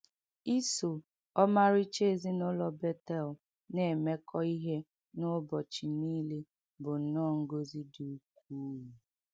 Iso ọmarịcha ezinụlọ Betel na - emekọ ihe n’ụbọchị nile bụ nnọọ ngọzi dị ukwuu.